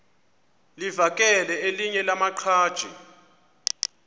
livakele elinye lamaqhaji